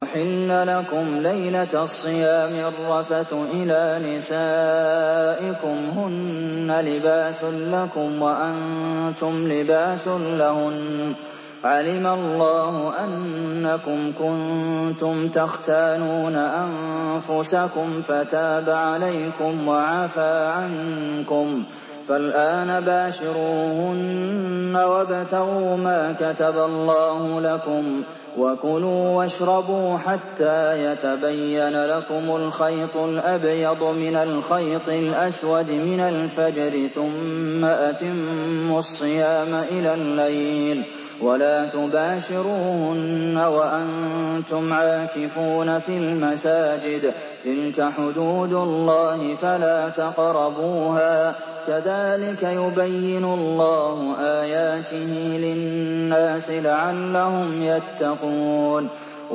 أُحِلَّ لَكُمْ لَيْلَةَ الصِّيَامِ الرَّفَثُ إِلَىٰ نِسَائِكُمْ ۚ هُنَّ لِبَاسٌ لَّكُمْ وَأَنتُمْ لِبَاسٌ لَّهُنَّ ۗ عَلِمَ اللَّهُ أَنَّكُمْ كُنتُمْ تَخْتَانُونَ أَنفُسَكُمْ فَتَابَ عَلَيْكُمْ وَعَفَا عَنكُمْ ۖ فَالْآنَ بَاشِرُوهُنَّ وَابْتَغُوا مَا كَتَبَ اللَّهُ لَكُمْ ۚ وَكُلُوا وَاشْرَبُوا حَتَّىٰ يَتَبَيَّنَ لَكُمُ الْخَيْطُ الْأَبْيَضُ مِنَ الْخَيْطِ الْأَسْوَدِ مِنَ الْفَجْرِ ۖ ثُمَّ أَتِمُّوا الصِّيَامَ إِلَى اللَّيْلِ ۚ وَلَا تُبَاشِرُوهُنَّ وَأَنتُمْ عَاكِفُونَ فِي الْمَسَاجِدِ ۗ تِلْكَ حُدُودُ اللَّهِ فَلَا تَقْرَبُوهَا ۗ كَذَٰلِكَ يُبَيِّنُ اللَّهُ آيَاتِهِ لِلنَّاسِ لَعَلَّهُمْ يَتَّقُونَ